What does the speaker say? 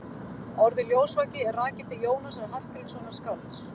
Orðið ljósvaki er rakið til Jónasar Hallgrímssonar skálds.